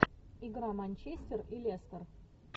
игра манчестер и лестер